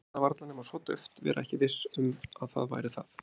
Heyra það varla nema svo dauft, vera ekki viss um að það væri það.